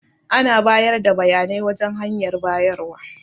Ana bayar da bayanai wajan hanyar bayarwa.